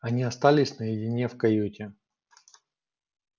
они остались наедине в каюте